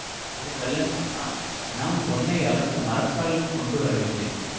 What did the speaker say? ஒரு கள்ளன் சொன்னான் நாம் பொன்னை அளக்க மரக்கால் கொண்டுவரவில்லை